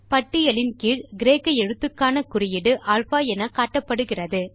பட்டியலின் கீழ் கிரேக்க எழுத்துக்கான குறியீடு அல்பா என காட்டப்படுகிறது